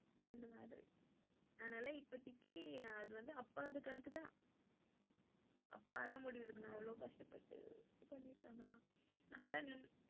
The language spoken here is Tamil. செரி அப்ப உனக்கு ஏதாதும் குடுப்பா,